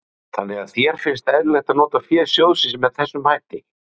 Þóra Kristín Ásgeirsdóttir: Þannig að þér finnst eðlilegt að nota fé sjóðsins með þessum hætti?